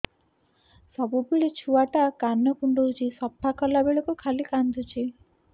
ସବୁବେଳେ ଛୁଆ ଟା କାନ କୁଣ୍ଡଉଚି ସଫା କଲା ବେଳକୁ ଖାଲି କାନ୍ଦୁଚି